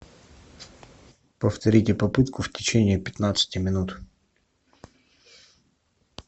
повторите попытку в течении пятнадцати минут